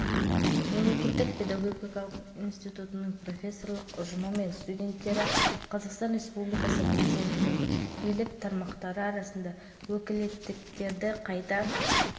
облыс өңіріндегі оқу орындары қаңтардағы елбасы нұрсұлтан назарбаевтың қазақстан халқына үндеуін талқылауды бастады соның бірі қостанай